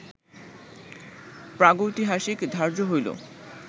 প্রাগৈতিহাসিক ধার্য হইল